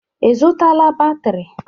Ị zụtala batrị?